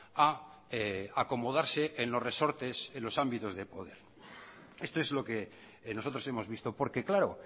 a acomodarse en los resortes en los ámbitos de poder esto es lo que nosotros hemos visto porque claro